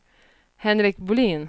Henrik Bolin